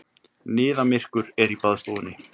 Niðamyrkur er í baðstofunni.